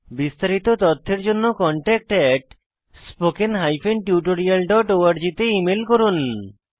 বিস্তারিত তথ্যের জন্য contactspoken tutorialorg তে ইমেল করুন